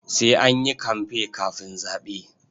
Sai an yi kamfe kafin zaɓe.